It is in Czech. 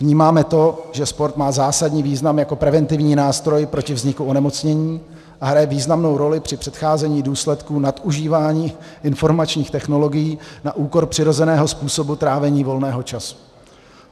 Vnímáme to, že sport má zásadní význam jako preventivní nástroj proti vzniku onemocnění a hraje významnou roli při předcházení důsledkům nadužívání informačních technologií na úkor přirozeného způsobu trávení volného času.